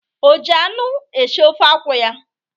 O ji anụ esi ofe akwụ ya?